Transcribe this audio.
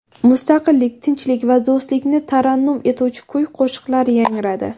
Mustaqillik, tinchlik va do‘stlikni tarannum etuvchi kuy-qo‘shiqlar yangradi.